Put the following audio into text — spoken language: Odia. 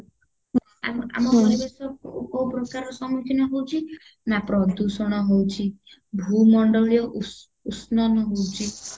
ଆମ ଆମ ପରିବେଶ କୋଉ ପ୍ରକାରର ସମ୍ମୁଖୀନ ହଉଚି ନାଁ ପ୍ରଦୂଷଣ ହଉଚି ଭୂମଣ୍ଡଳୀୟ ଉଷ ଉଷ୍ଣନ ହଉଚି